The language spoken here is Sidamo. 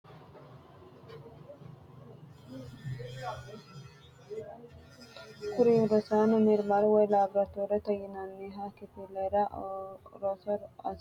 Kuri roosano mirimaru yoyi labratorete yinaniha kifilera roso asitay woyi mukera asitayi noota la'nemo qoleno insa kiiro haamata ikinota buunxemo